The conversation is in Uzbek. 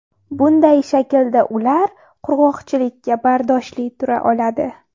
Bunday shaklda ular qurg‘oqchilikka bardoshli tura oladi.